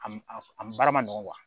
A m a baara ma nɔgɔn